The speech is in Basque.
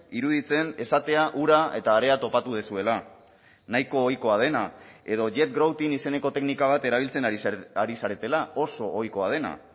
iruditzen esatea ura eta harea topatu duzuela nahiko ohikoa dena edo jet grouting izeneko teknika bat erabiltzen ari zaretela oso ohikoa dena